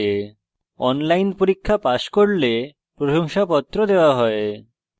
online পরীক্ষা pass করলে প্রশংসাপত্র certificates দেওয়া হয়